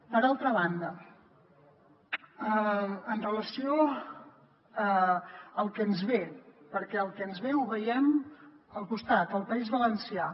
per altra banda amb relació al que ens ve perquè el que ens ve ho veiem al costat al país valencià